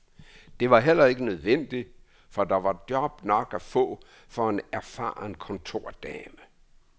Det var heller ikke nødvendigt, for der var job nok at få for en erfaren kontordame.